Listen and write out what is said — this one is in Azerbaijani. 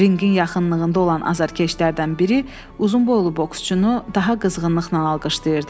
Ringin yaxınlığında olan azarkeşlərdən biri uzunboylu boksçunu daha qızğınlıqla alqışlayırdı.